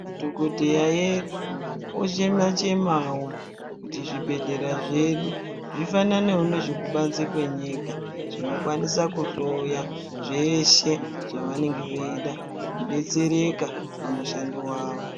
Madhogodheya edu ochema-chemavo kuti zvibhedhleya zvedu zvifananevo nezve kubanze kwenyika. vZinokwanisa kuhloya zveshe zvavanenge veida veibetsereka pamushando vavo.